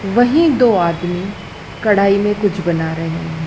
वही दो आदमी कढ़ाई में कुछ बना रहे हैं।